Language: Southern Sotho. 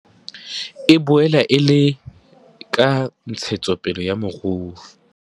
E boela e le le ka ntshetsopele ya moruo.